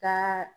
Ka